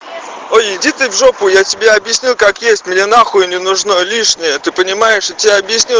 ой иди ты в жопу я тебе объясню как есть мне нахуй не нужно лишнее ты понимаешь я тебе объясню